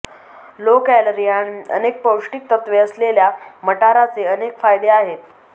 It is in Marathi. लो कॅलरी आणि अनेक पौष्टिक तत्त्वे असलेल्या मटाराचे अनेक फायदे आहेत